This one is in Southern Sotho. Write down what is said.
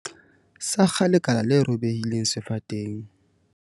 Sakga lekala le robehileng sefateng.